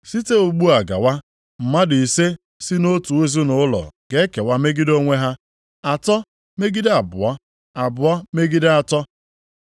Site ugbu a gawa, mmadụ ise si nʼotu ezinaụlọ ga-ekewa megide onwe ha, atọ megide abụọ, abụọ megide atọ.